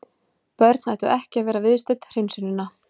Börn ættu ekki að vera viðstödd hreinsunina.